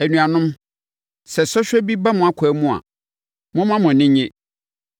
Anuanom, sɛ sɔhwɛ bi ba mo akwan mu a, momma mo ani nnye